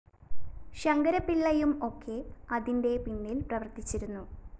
ശങ്കരപ്പിള്ളയും ഒക്കെ അതിന്റെ പിന്നില്‍ പ്രവര്‍ത്തിച്ചിരുന്നു